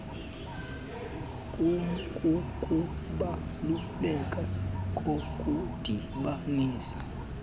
km kukubaluleka kokudibanisa